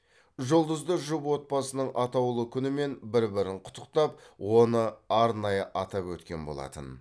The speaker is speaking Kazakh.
жұлдызды жұп отбасының атаулы күнімен бір бірін құттықтап оны арнайы атап өткен болатын